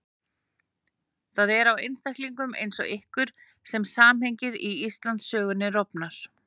Það er á einstaklingum eins og ykkur sem samhengið í Íslandssögunni rofnar.